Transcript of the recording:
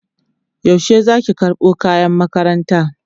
yaushe Zaki karɓo kayan makaranta?